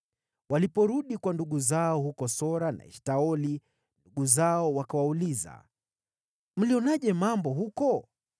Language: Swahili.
Waliporudi kwa ndugu zao huko Sora na Eshtaoli, ndugu zao wakawauliza, “Mlionaje mambo huko?”